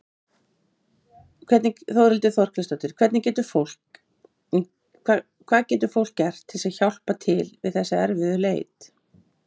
Þórhildur Þorkelsdóttir: Hvað getur fólk gert til að hjálpa til við þessa erfiðu leit?